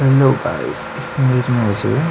hello guys image इमेज मे --